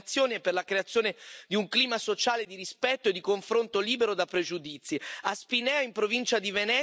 che promuove buone prassi contro le discriminazioni e per la creazione di un clima sociale di rispetto e di confronto libero da pregiudizi.